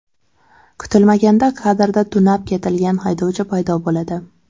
Kutilmaganda kadrda tunab ketilgan haydovchi paydo bo‘ladi.